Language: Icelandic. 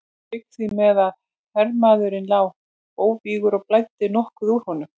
Lauk því með að hermaðurinn lá óvígur og blæddi nokkuð úr honum.